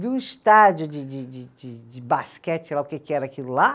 Viu o estádio de de de de, de basquete, sei lá o que que era aquilo lá?